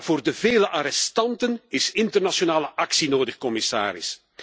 Maar voor de vele arrestanten is internationale actie nodig, commissaris.